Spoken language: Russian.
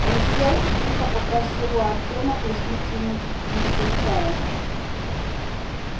он сел и тихо попросил у артема плеснуть ему ещё чая